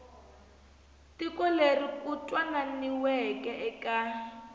tiko leri ku twananiweke eka